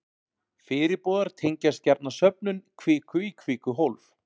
Fyrirboðar tengjast gjarna söfnun kviku í kvikuhólf.